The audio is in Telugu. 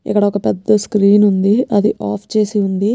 ఇక్కడ ఒక్క పెద్ద స్క్రీన్ ఉందిఅది ఆఫ్ చేసి ఉంది.